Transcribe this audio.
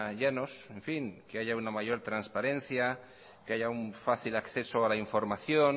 llanos en fin que haya una mayor transparencia que haya un fácil acceso a la información